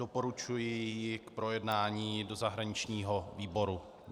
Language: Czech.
Doporučuji ji k projednání do zahraničního výboru.